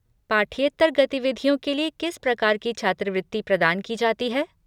पाठ्येतर गतिविधियों के लिए किस प्रकार की छात्रवृत्ति प्रदान की जाती है?